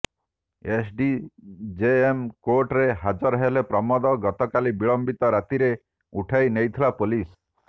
SDJM କୋର୍ଟରେ ହାଜର ହେଲେ ପ୍ରମୋଦ ଗତକାଲି ବିଳମ୍ବିତ ରାତିରେ ଉଠାଇ ନେଇଥିଲା ପୋଲିସ୍